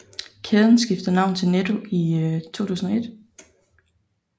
Kæden skiftede navn til Netto i 2001